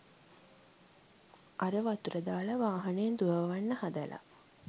අර වතුර දාල වාහන දුවවන්න හදල